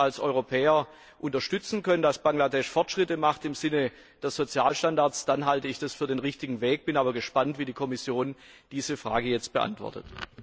Wenn wir es als Europäer unterstützen können, dass Bangladesch Fortschritte macht im Sinne der Sozialstandards, dann halte ich das für den richtigen Weg, bin aber gespannt, wie die Kommission diese Frage jetzt beantwortet.